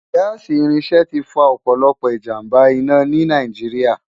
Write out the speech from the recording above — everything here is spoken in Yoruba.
Gaasi irinṣẹ ti fá òpòlòpò ijámbá-inà ni Náijiriá